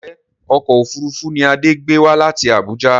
Ǹjẹ́ ọkọ̀ òfuurufú ni Adé gbé wá láti Abuja?